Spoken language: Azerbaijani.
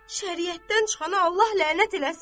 Şəriətdən çıxana Allah lənət eləsin.